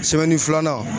Sɛbɛnni filanan